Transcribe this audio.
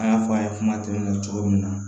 An y'a fɔ a ye kuma tɛmɛnenw cogo min na